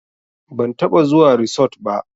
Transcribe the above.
Ban taɓa zuwa risot ba